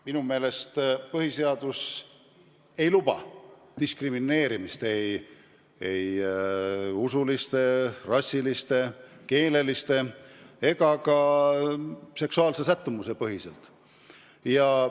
Minu meelest põhiseadus ei luba diskrimineerimist ei usu, rassi, keele ega ka seksuaalse sättumuse tõttu.